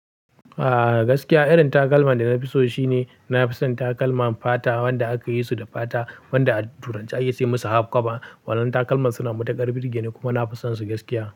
Ah gaskiya irin takalman da na fi so shine na fi son takalman fata, wanda aka yi su da fata wanda a turance ake ce musu halfcover. Wannan takalman suna matukar birge ni kuma na fisonsu gaskiya.